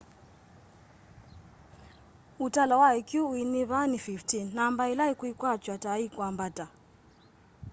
ũtalo wa ikyũ uinyiva ni 15 namba ĩla ikwikwatw'a ta ikwambata